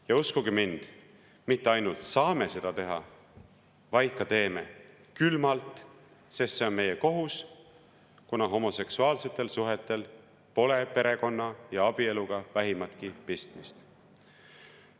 Ja uskuge mind, me mitte ainult s a a m e seda teha, vaid ka t e e m e, külmalt, sest see on meie kohus, kuna homoseksuaalsetel suhetel pole perekonna ja abieluga vähimatki pistmist.